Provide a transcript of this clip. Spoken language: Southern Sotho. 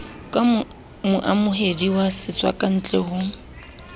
ka moamohedi wa setswakantle ho